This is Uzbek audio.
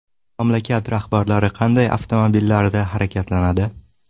Mamlakat rahbarlari qanday avtomobillarda harakatlanadi?